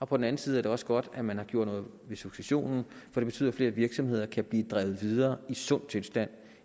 på den anden side er det også godt at man har gjort noget ved successionen for det betyder at flere virksomheder kan blive drevet videre i sund tilstand